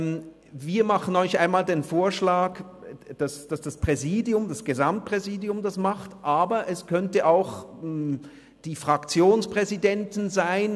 Wir machen Ihnen den Vorschlag, dass es das Gesamtpräsidium macht, aber es könnten auch die Fraktionspräsidenten sein.